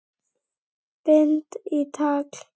Bind í tagl.